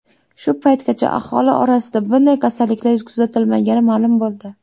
Shu paytgacha aholi orasida bunday kasalliklar kuzatilmagani ma’lum bo‘ldi.